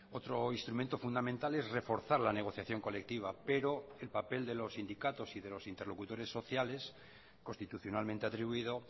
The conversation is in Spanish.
otro instrumento fundamental es reforzar la negociación colectiva pero el papel de los sindicatos y de los interlocutores sociales constitucionalmente atribuido